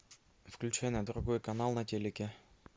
включай на другой канал на телике